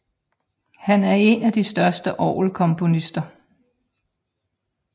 Han er en af de største orgelkomponister